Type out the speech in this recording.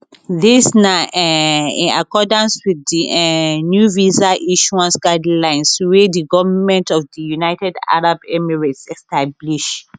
dis na um in accordance wit di um new visa issuance guidelines wey di goment of di united arab emirates establish